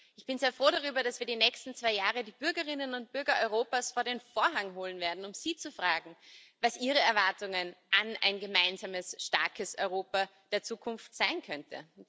Ich bin sehr froh darüber, dass wir die nächsten zwei Jahre die Bürgerinnen und Bürger Europas vor den Vorhang holen werden, um sie zu fragen, was ihre Erwartungen an ein gemeinsames, starkes Europa der Zukunft sein könnten.